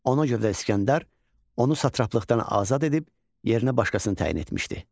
Ona görə də İsgəndər onu satraplıqdan azad edib yerinə başqasını təyin etmişdi.